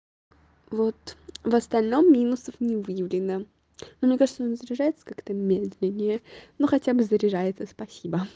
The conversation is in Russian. вот в остальном минусов не выявлено но мне кажется он заряжается как-то медленнее ну хотя бы заряжается спасибо